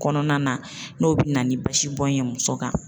Kɔnɔna na n'o bɛ na ni basibɔn ye muso kan